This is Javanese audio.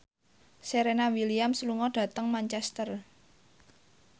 Serena Williams lunga dhateng Manchester